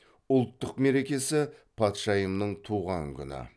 ұлттық мерекесі патшайымның туған күні